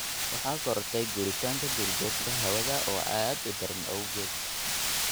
Waxaa korortay guuritaanka duurjoogta hawada oo aad u daran awgeed.